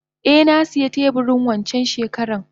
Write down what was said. Eh nasiya teburi wancan shekaran.